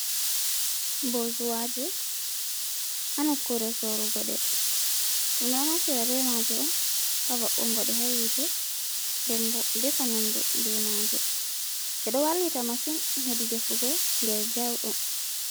Bo zuwaje hanukure sorugo ɗe, ɗum ɗo nfatira bemaje on ha wa ungonde ha yite ndebo defa nyamdu bemaje ɓe do wallita masin hedi defugo nder jauɗum.